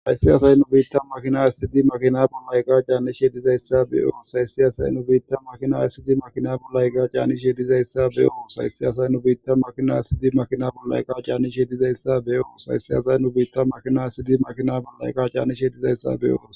Hayssi asay nu biitta makina issidi makina pollayqa caanni shedizayssa beyoo sayssi asay nu biitta makina ayssidi makina pollayga caannishedizayssa beyooo sayssi asay nu biitta makina issidi makina pollayqqa caanni shedizayssa beyoo sayssi asay nu biitta makina issidi makina palayka caanni shedizayssa beyooo.